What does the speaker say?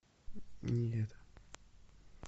не это